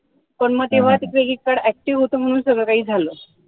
पण मग तेव्हा ते credit card active होत म्हणून सगळं काही झालं.